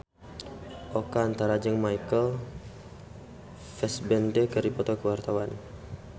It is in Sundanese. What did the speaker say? Oka Antara jeung Michael Fassbender keur dipoto ku wartawan